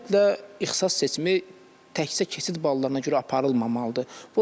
Ümumiyyətlə ixtisas seçimi təkcə keçid ballarına görə aparılmamalıdır.